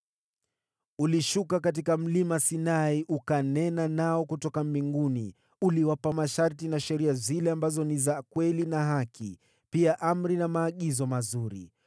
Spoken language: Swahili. “Ulishuka katika Mlima Sinai, ukanena nao kutoka mbinguni. Uliwapa masharti na sheria zile ambazo ni za kweli na haki, pia amri na maagizo mazuri.